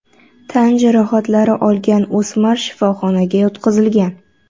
Tan jarohatlari olgan o‘smir shifoxonaga yotqizilgan.